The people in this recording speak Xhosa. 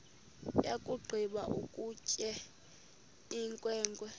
yakugqiba ukutya inkwenkwe